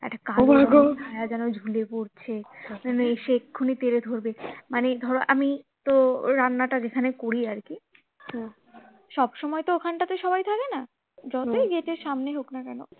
হ্যা যেন ঝুলে পড়ছে মানে এসে এক্ষুনি তেড়ে ধরবে মানে ধরো আমি তো রান্না টা যেখানে করি আর কি তো সব সময় তো ওখানটাতে সবাই থাকে না যতই গেটের সামনে হোক না কেন